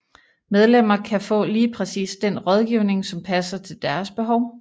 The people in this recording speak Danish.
Medlemmer kan få lige præcis den rådgivning som passer til deres behov